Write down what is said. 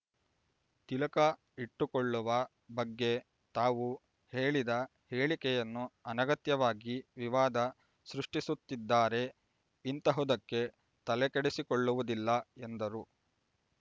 ತಿಲಕ ಇಟ್ಟುಕೊಳ್ಳುವ ಬಗ್ಗೆ ತಾವು ಹೇಳಿದ ಹೇಳಿಕೆಯನ್ನು ಅನಗತ್ಯವಾಗಿ ವಿವಾದ ಸೃಷ್ಟಿಸುತ್ತಿದ್ದಾರೆ ಇಂತಹುದಕ್ಕೆ ತಲೆಕೆಡಿಸಿಕೊಳ್ಳವುದಿಲ್ಲ ಎಂದರು